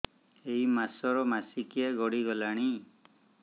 ଏଇ ମାସ ର ମାସିକିଆ ଗଡି ଗଲାଣି